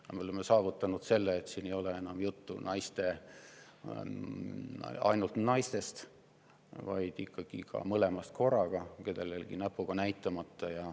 Aga me oleme saavutanud selle, et siin ei ole enam juttu ainult naistest, vaid ikka mõlemast ja kellegi peale näpuga ei näidata.